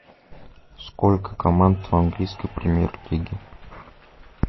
сколько команд в английской премьер лиге